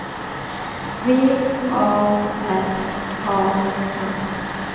V A R A N